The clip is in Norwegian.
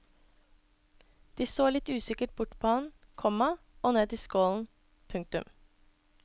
De så litt usikkert bort på han, komma og ned i skålen. punktum